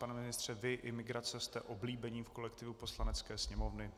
Pane ministře, vy i migrace jste oblíbení v kolektivu Poslanecké sněmovny.